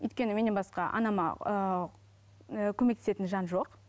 өйткені менен басқа анама ііі көмектесетін жан жоқ